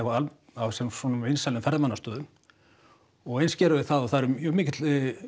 á vinsælum ferðamannastöðum og eins gerum við það og það er mjög mikil